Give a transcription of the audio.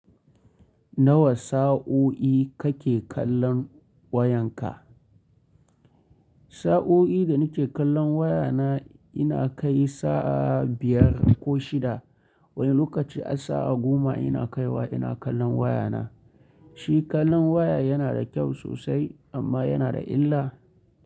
Nawa sa'o'i kake kallon wayanka? Sa'o'i da nike kallon wayana ina kai sa'a biyar ko shida. Wani lokaci har sa'a goma ina kaiwa ina kallon wayana. Shi kallon waya yana da kyau sosai amma yana da illa.